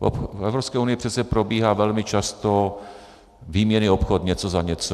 V Evropské unii přece probíhá velmi často výměnný obchod něco za něco.